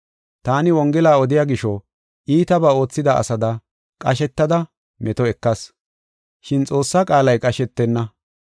Taani wongela odiya gisho, iitabaa oothida asada, qashetada meto ekayis. Shin Xoossaa qaalay qashetenna.